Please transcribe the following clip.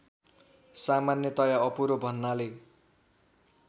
सामान्यतया अपुरो भन्नाले